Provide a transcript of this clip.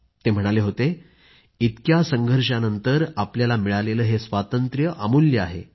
ते म्हणाले होते इतक्या संघर्षानंतर आपल्याला मिळालेले हे स्वातंत्र्य अमूल्य आहे